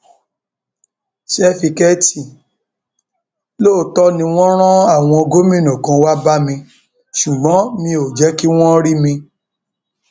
sáfìkẹẹtì lóòótọ ni wọn rán àwọn gómìnà kan wàá bẹ mi ṣùgbọn mi ò jẹ kí wọn rí mi